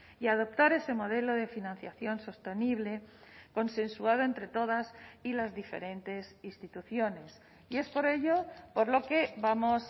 y adoptar ese modelo de financiación sostenible consensuado entre todas y las diferentes instituciones y es por ello por lo que vamos